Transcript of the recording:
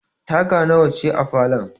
Taga nawa ce a falon?